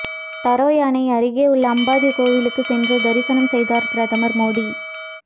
தரோய் அணை அருகே உள்ள அம்பாஜி கோயிலுக்கு சென்று தரிசனம் செய்தார் பிரதமர் மோடி